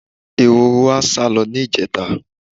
Ehoro wa sálo̩ ní ìje̩ta.